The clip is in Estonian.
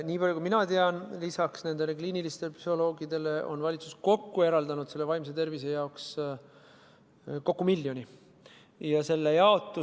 Nii palju kui mina tean, on valitsus lisaks kliinilistele psühholoogidele eraldanud vaimse tervise jaoks kokku miljon eurot.